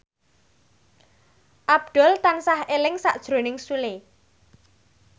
Abdul tansah eling sakjroning Sule